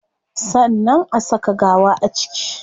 Sannan a saka gawa a ciki